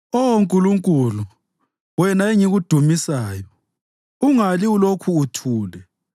Oh Nkulunkulu, wena engikudumisayo, ungali ulokhu uthule,